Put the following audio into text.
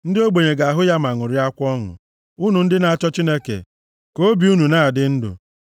Ndị ogbenye ga-ahụ ya ma ṅụrịakwa ọṅụ; unu ndị na-achọ Chineke, ka obi unu na-adị ndụ.